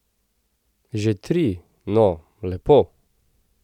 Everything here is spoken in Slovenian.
Že tri, no, lepo!